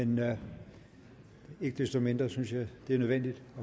men ikke desto mindre synes jeg det er nødvendigt